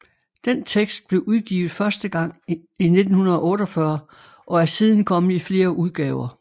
Den tekst blev udgivet første gang i 1948 og er siden kommet i flere udgaver